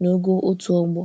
n'ogo otu ọgbọ.